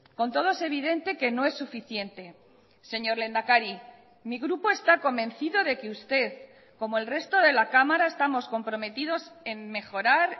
con todo es evidente que no es suficiente señor lehendakari mi grupo está convencido de que usted como el resto de la cámara estamos comprometidos en mejorar